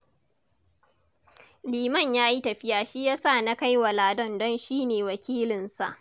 Liman ya yi tafiya shi ya sa na kai wa Ladan don shi ne wakilinsa.